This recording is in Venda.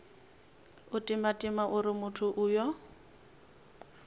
u timatima uri muthu uyo